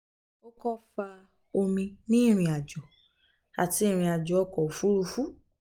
o ko fa omi ni irin-ajo ati irin-ajo ọkọ ofurufu um